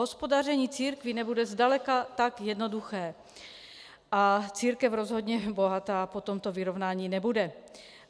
Hospodaření církví nebude zdaleka tak jednoduché a církev rozhodně bohatá po tomto vyrovnání nebude.